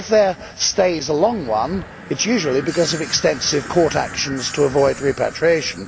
If their stay is a long one it is usually because of extensive court actions to avoid repatriation.